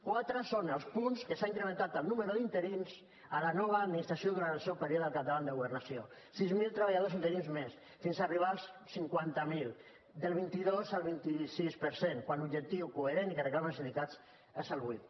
quatre són els punts que s’ha incrementat el nombre d’interins a la nova administració durant el seu període al capdavant de governació sis mil treballadors interins més fins a arribar als cinquanta mil del vint dos al vint sis per cent quan l’objectiu coherent i que reclamen els sindicats és el vuit